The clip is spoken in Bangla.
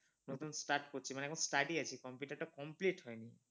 নতুন start করছি মানে এখন start ই আছি computer টা এখন complete হয়নি।